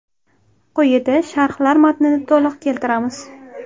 Quyida sharhlar matnini to‘liq keltiramiz.